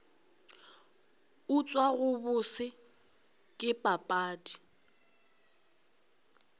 utswa go bose ke papadi